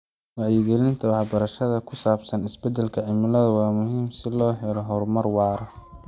Wacyigelinta waxbarashada ku saabsan isbedelka cimilada waa muhiim si loo helo horumar waara.